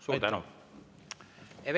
Suur tänu!